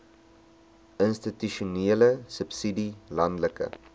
institusionele subsidie landelike